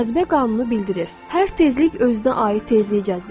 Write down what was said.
Cazibə qanunu bildirir: hər tezlik özünə aid tezliyi cəzb edir.